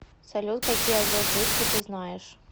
салют какие азот жидкий ты знаешь